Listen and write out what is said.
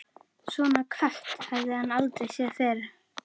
Svona kött hafði hann aldrei séð fyrr.